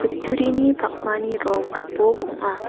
kutturini pakmani rong gipok ong·a.